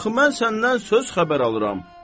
Axı mən səndən söz xəbər alıram.